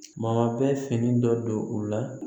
Ma bɛ fini dɔ don u la